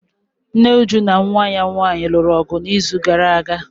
Nne Uju na nwa ya nwanyị lụrụ ọgụ n'izu gara aga.